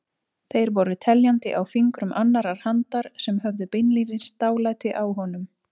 Þeir voru teljandi á fingrum annarrar handar sem höfðu beinlínis dálæti á honum.